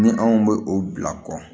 Ni anw bɛ o bila kɔ